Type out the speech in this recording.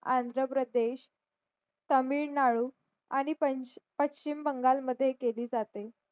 आंध्र प्रदेश तामिळनाडू आणि पशी पश्चिम बंगाल मद्ये काली जात्ते